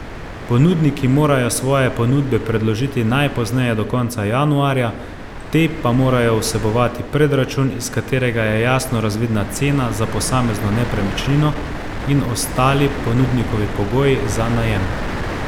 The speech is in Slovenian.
Ponudniki morajo svoje ponudbe predložiti najpozneje do konca januarja, te pa morajo vsebovati predračun, iz katerega je jasno razvidna cena za posamezno nepremičnino in ostali ponudnikovi pogoji za najem.